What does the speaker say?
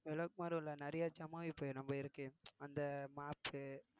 விளக்குமாறு உள்ள நிறைய ஜாமான் இப்ப நம்ப இருக்கு அந்த மாப்பு